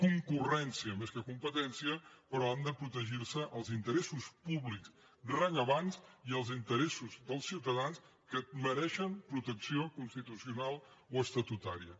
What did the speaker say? concurrència més que competència però han de protegir se els interessos públics rellevants i els interessos dels ciutadans que mereixen protecció constitucional o estatutària